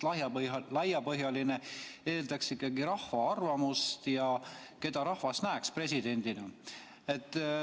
Laiapõhjaline eeldaks ikkagi rahva arvamuse kuulamist, et keda rahvas näeks presidendina.